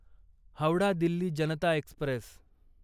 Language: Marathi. हावडा दिल्ली जनता एक्स्प्रेस